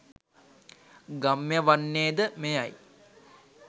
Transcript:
ගම්‍ය වන්නේ ද මෙයයි.